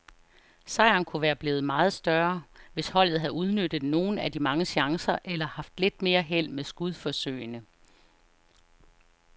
Sejren kunne være blevet meget større, hvis holdet havde udnyttet nogle af de mange chancer eller haft lidt mere held med skudforsøgene.